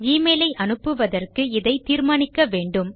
email ஐ அனுப்புவதற்கு இதை தீர்மானிக்க வேண்டும்